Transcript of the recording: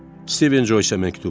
Stephen Joyceə məktub.